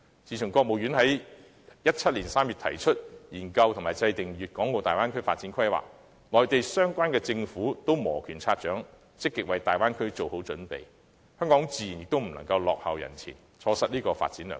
自國務院在2017年3月提出研究和制訂粵港澳大灣區發展規劃，內地各相關政府均已摩拳擦掌，積極為大灣區做好準備，香港自然也不能落後於人，錯失這個發展良機。